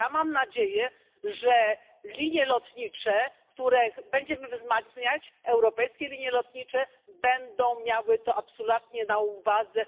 Mam nadzieję, że linie lotnicze, które będziemy wzmacniać europejskie linie lotnicze będą miały to absolutnie na uwadze.